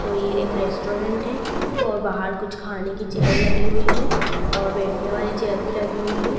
तो ये एक रेस्टोरेंट है और बाहर कुछ खाने की चेयर लगी हुई हैं और बैठने वाली चेयर भी लगी हुई है।